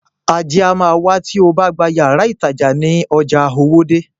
Ajé a má wá tí obá gba yàrá ìtajà ní ojà Owódé.